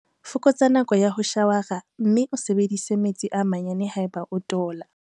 Fokotsa nako ya ho shawara mme o sebedise metsi a manyane haeba o tola.